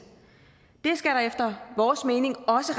det skal der efter vores mening også